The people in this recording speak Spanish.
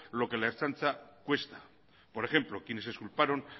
lo que la ertzaintza cuesta por ejemplo quienes culparon